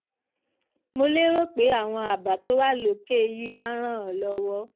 mo lérò pé àwọn àbá tó wà lókè yìí á ràn án lọ́wọ́